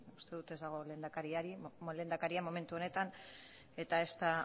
eta ez dago lehendakaria momentu honetan eta ezta